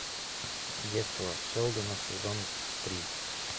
детство шелдона сезон три